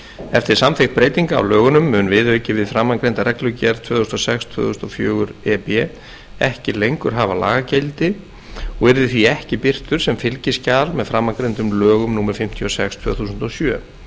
eftir samþykkt breytinga á lögunum mun viðauki við framangreinda reglugerð tvö þúsund og sex tvö þúsund og fjögur e b ekki lengur hafa lagagildi og yrði því ekki birtur sem fylgiskjal með framangreindum lögum númer fimmtíu og sex tvö þúsund og sjö